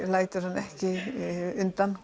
lætur hann ekki undan